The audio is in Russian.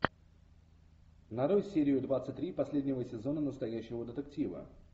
нарой серию двадцать три последнего сезона настоящего детектива